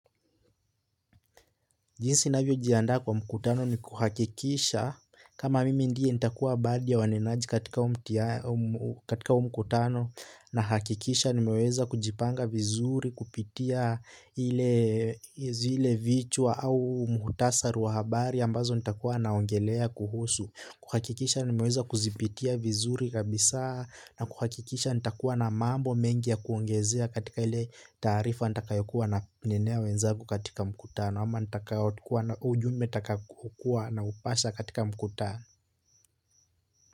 Jinsi ninavyojianda kwa mkutano ni kuhakikisha kama mimi ndiye nitakuwa badhi waninaji katika huu mkutano nahakikisha nimeweza kujipanga vizuri kupitia hile vichwa au mukhtasari wa habari ambazo nitakuwa naongelea kuhusu. Kuhakikisha nimeweza kuzipitia vizuri kabisa na kuhakikisha nitakuwa na mambo mengi ya kuongezea katika ile tarifa nitakayokuwa nanenea wenzangu katika mkutano ama nitakayotikuwa na ujumbe takakukua naupasha katika mkutana.